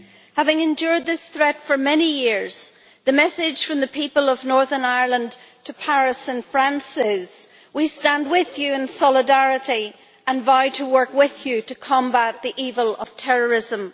Having endured this threat for many years, the message from the people of Northern Ireland to Paris and France is we stand with you in solidarity and vow to work with you to combat the evil of terrorism.